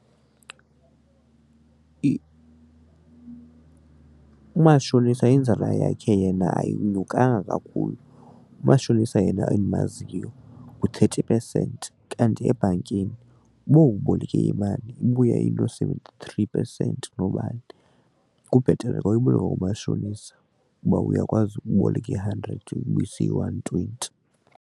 umashonisa inzala yakhe yena ayinyuka kakhulu. Oomashonisa yena endimaziyo ngu-thirty percent kanti ebhankini uba uboleke imali ibuya ino-seventy-three percent noobani kubhetele xa uyiboleka kumashonisa kuba uyakwazi uboleka i-hundred uyibuyise iyi-one twenty.